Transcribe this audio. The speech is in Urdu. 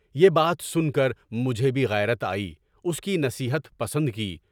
یہ بات سن کر مجھے بھی غیرت آئی، اس کی نصیحت پسند کی۔